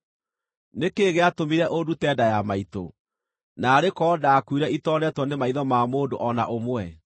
“Nĩ kĩĩ gĩatũmire ũndute nda ya maitũ? Naarĩ korwo ndakuire itoneetwo nĩ maitho ma mũndũ o na ũmwe.